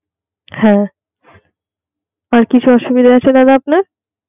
হ্যা আর কিছু অসুবিধা আছে দাদা আপনার?